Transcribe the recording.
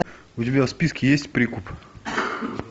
у тебя в списке есть прикуп